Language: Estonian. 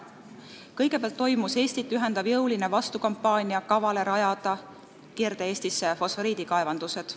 Kõigepealt toimus Eestit ühendav jõuline vastukampaania kavale rajada Kirde-Eestisse fosforiidikaevandused.